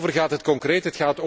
Waarover gaat het concreet?